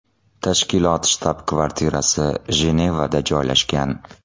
Tashkilot shtab-kvartirasi Jenevada joylashgan.